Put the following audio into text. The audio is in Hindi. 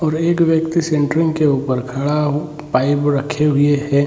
और एक व्यक्ति सेंट्रिग के ऊपर खड़ा पाइप रखे हुए हैं।